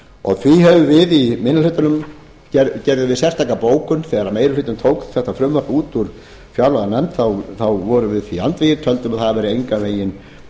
og því gerðum við í minni hlutanum sérstaka bókun þegar meiri hlutinn tók þetta frumvarp út úr fjárlaganefnd vorum við því andvígir töldum að það væri engan veginn